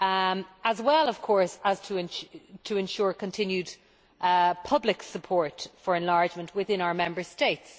as well as, of course, to ensure continued public support for enlargement within our Member States.